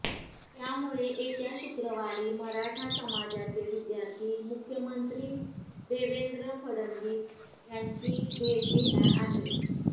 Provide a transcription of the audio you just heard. त्यामुळे येत्या शुक्रवारी मराठा समाजाचे विध्यार्थी मुख्यमंत्री देवेंद्र फडणवीस यांची भेट घेणार आहेत